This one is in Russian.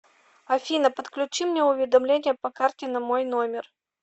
афина подключи мне уведомление по карте на мой номер